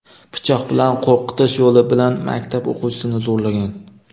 pichoq bilan qo‘rqitish yo‘li bilan maktab o‘quvchisini zo‘rlagan.